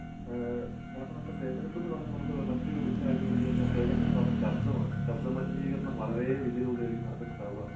ഏഹ് കാരണം നമ്മുടെ തിരഞ്ഞെടുപ്പ് എന്ന് പറഞ്ഞാൽ നമുക്ക് മറ്റൊരു കാര്യംന്ന് പറഞ്ഞു കഴിഞ്ഞാൽ തിരഞ്ഞെടുപ്പിലുണ്ടാകുന്ന ശബ്ദമാണ്. ശബ്ദമലിനീകരണം വളരെ വലിയ തോതിലായിരിക്കും നടക്കുന്നുണ്ടാവുക